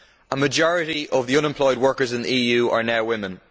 A majority of the unemployed workers in the EU are now women.